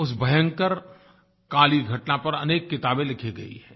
उस भयंकर काली घटना पर अनेक किताबें लिखी गई हैं